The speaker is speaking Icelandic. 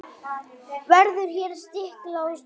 Verður hér stiklað á stóru.